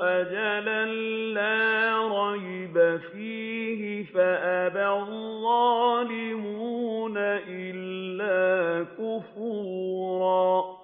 أَجَلًا لَّا رَيْبَ فِيهِ فَأَبَى الظَّالِمُونَ إِلَّا كُفُورًا